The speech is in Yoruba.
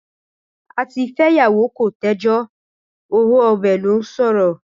Àtifẹ́yàwó kò tẹ́jọ́ owó ọbẹ̀ ló ṣòro.